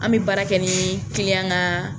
An bɛ baara kɛ ni ka